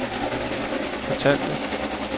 fortalte